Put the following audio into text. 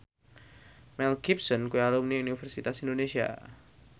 Mel Gibson kuwi alumni Universitas Indonesia